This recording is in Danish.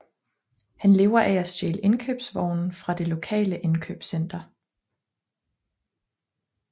Han lever af at stjæle indkøbsvogne fra det lokale indkøbscenter